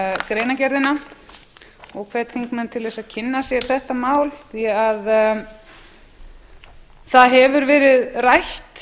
greinargerðina og hvet þingmenn til þess að kynna sér þetta mál því að það hefur verið rætt